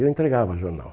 Eu entregava jornal.